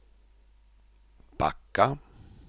backa